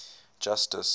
justice